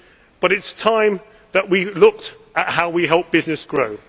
But it is time that we look at how we help businesses grow.